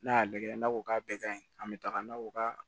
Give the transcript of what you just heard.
N'a y'a lajɛ n'a ko k'a bɛɛ ka ɲi an bɛ taga n'a ko ka